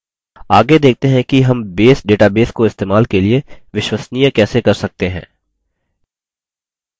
आगे देखते हैं कि हम base database को इस्तेमाल के लिए विश्वसनीय कैसे कर सकते हैं